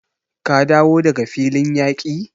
Ka dawo daga filin yaki?